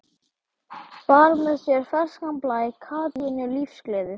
Bar með sér ferskan blæ, kátínu, lífsgleði.